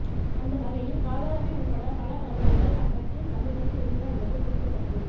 அந்த வகையில் ராதாரவி உள்பட பல பிரபலங்கள் அக்கட்சியின் சமீபத்தில் இருந்தனர் என்பது குறிப்பிடத்தக்கது